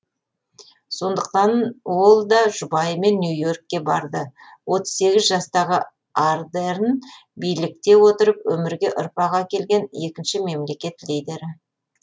сондықтан ол да жұбайымен нью и оркке барды отыз сегіз жастағы ардерн билікте отырып өмірге ұрпақ әкелген екінші мемлекет лидері